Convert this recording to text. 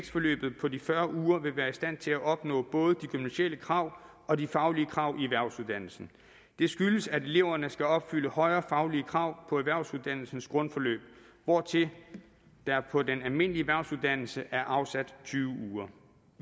forløbet på de fyrre uger ikke vil være i stand til at opnå både de gymnasiale krav og de faglige krav i erhvervsuddannelsen det skyldes at eleverne skal opfylde højere faglige krav på erhvervsuddannelsens grundforløb hvortil der på den almindelige erhvervsuddannelse er afsat tyve uger